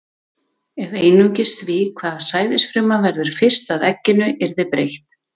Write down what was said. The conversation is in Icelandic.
Ef einungis því, hvaða sæðisfruma verður fyrst að egginu, yrði breytt.